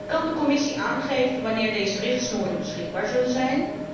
Kan de Commissie aangeven wanneer deze richtsnoeren beschikbaar zullen zijn?